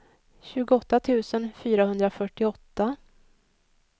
tjugoåtta tusen fyrahundrafyrtioåtta